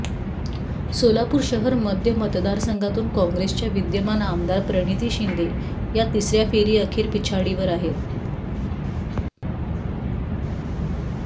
सोलापूर शहर मध्य मतदारसंघातून काँग्रेसच्या विद्यमान आमदार प्रणिती शिंदे या तिसऱ्या फेरी अखेर पिछाडीवर आहेत